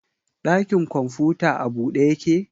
Ɗakin kwamfuta a bude yake?